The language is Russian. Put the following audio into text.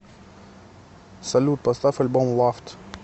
салют поставь альбом лавд